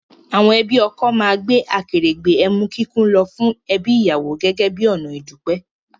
Àwọn ẹbí ọkọ máa gbé akèrègbè emu kíkún lọ fún ẹbí ìyàwó gẹ́gẹ́ bí ọ̀nà ìdúpẹ́